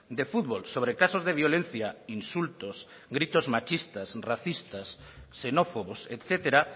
de fútbol sobre casos de violencia insultos gritos machistas racistas xenófobos etcétera